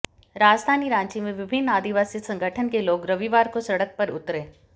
राजधानी रांची में विभिन्न आदिवासी संगठन के लोग रविवार को सड़क पर उतरे